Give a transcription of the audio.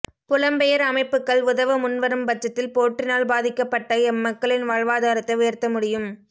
புலம்பெயர் அமைப்புக்கள் உதவ முன்வரும் பட்சத்தில் போற்றினால் பாதிக்கப்பட்ட எம்மக்களின் வாழ்வாதாரத்தை உயர்த்தமுடியும்